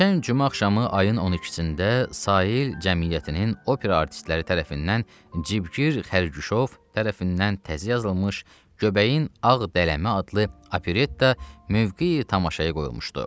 Keçən cümə axşamı ayın 12-də Sahil Cəmiyyətinin opera artistləri tərəfindən Cibgir Xərguşov tərəfindən təzə yazılmış Göbəyin Ağ Dələmə adlı Operetta mövqeyi tamaşaya qoyulmuşdu.